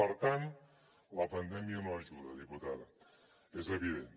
per tant la pandèmia no ajuda diputada és evident